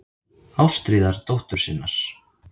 Ástríðar dóttur sinnar.